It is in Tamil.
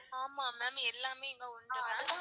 ஆமா ma'am எல்லாமே இங்க உண்டு mam